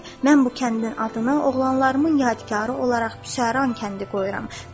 Mən bu kəndin adını oğlanlarımın yadkarı olaraq Büsəran kəndi qoyuram,